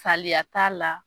Saliya t'a la